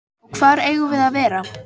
Og hvar eigum við að vera?